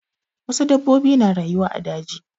Wasu dabbobi na rayuwa a daji.